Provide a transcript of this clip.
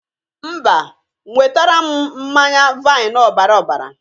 Mba, nwetara m mmanye vain ọbara ọbara.